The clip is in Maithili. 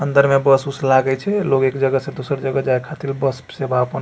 अंदर में बस - उस लागय छे लोग एक जगह से दूसर जगह जाये खातिर बस सेवा आपन --